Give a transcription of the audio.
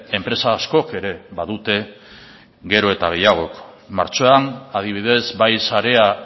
enpresa askok ere badute gero eta gehiagok martxoan adibidez bai sarea